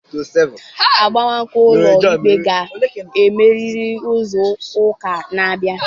Agbamakwụkwọ ụlọ ikpe ga-emerịrị izu ụka na-abịa.